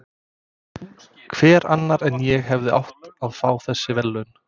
Hver annar en ég hefði átt að fá þessi verðlaun?